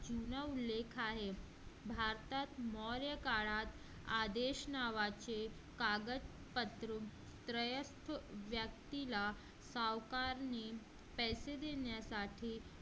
जुना उल्लेख आहे भारतात मोरया काळात आदेश नावाचे एकदा कागदपत्रात व्यक्तीला सावकार ने पैसे देण्यासाठी